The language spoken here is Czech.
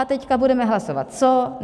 A teď budeme hlasovat co?